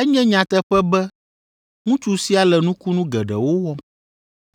Enye nyateƒe be ŋutsu sia le nukunu geɖewo wɔm.